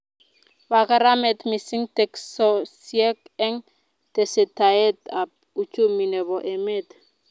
Pa kamanut mising teksosiek eng tesetaet ab uchumi nebo emet